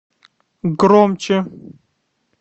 громче